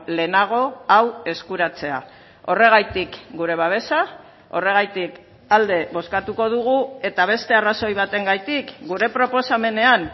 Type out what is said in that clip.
lehenago hau eskuratzea horregatik gure babesa horregatik alde bozkatuko dugu eta beste arrazoi batengatik gure proposamenean